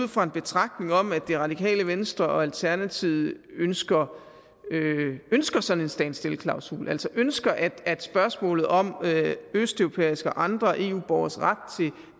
ud fra en betragtning om at det radikale venstre og alternativet ønsker ønsker sådan en standstill klausul altså ønsker at at spørgsmålet om østeuropæiske og andre eu borgeres ret til